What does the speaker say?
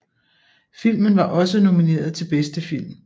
Filmen var også nomineret til bedste film